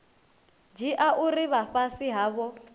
dzhia uri vha fhasi havho